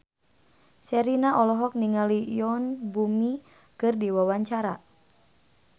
Sherina olohok ningali Yoon Bomi keur diwawancara